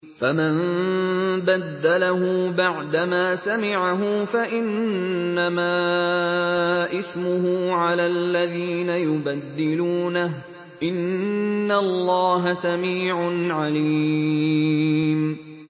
فَمَن بَدَّلَهُ بَعْدَمَا سَمِعَهُ فَإِنَّمَا إِثْمُهُ عَلَى الَّذِينَ يُبَدِّلُونَهُ ۚ إِنَّ اللَّهَ سَمِيعٌ عَلِيمٌ